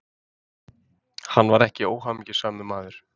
Hann var ekki óhamingjusamur maður.